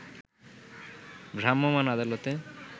ভ্রাম্যমান আদালতে